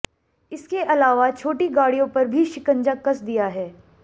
इसके अलावा छोटी गाडि़यों पर भी शिकंजा कस दिया है